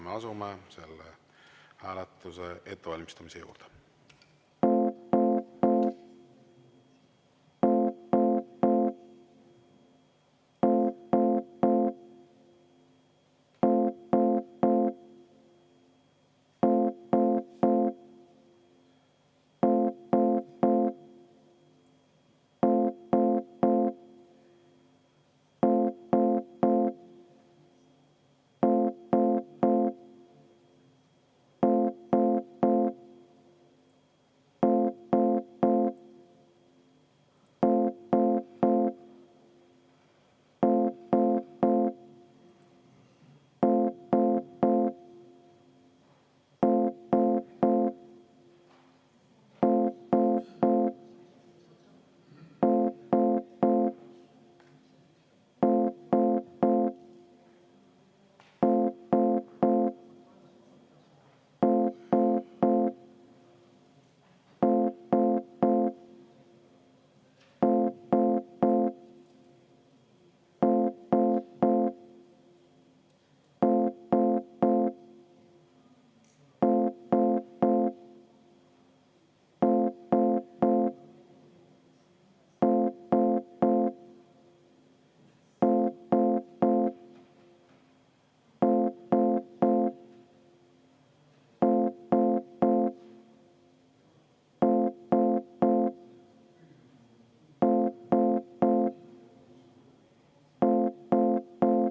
Me asume selle hääletuse ettevalmistamise juurde.